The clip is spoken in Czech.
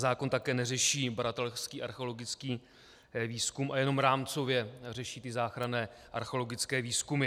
Zákon také neřeší badatelský archeologický výzkum a jenom rámcově řeší ty záchranné archeologické výzkumy.